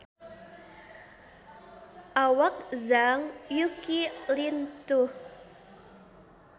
Awak Zhang Yuqi lintuh